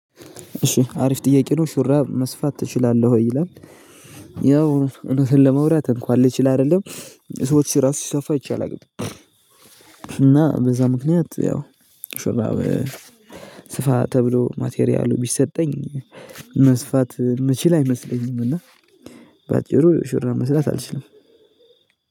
እሺ አሪፍ ጥያቄ ነው ሹራብ መስፋት ትችላለህ ወይ ይላል? ያው እውነቱን ለማውራት እንኳን ልችል አይደለም ለሰዎች ራሱ ሲሰፋ አይቼ አላውቅም። እና በዛ ምክንያት ያው ሹራብ ስፋ ተብሎ ማቴሪያሉ ቢሰጠኝ መስፋት የምችል አይመስለኝም። እና ባጭሩ ሹራብ መስፋት አልችልም።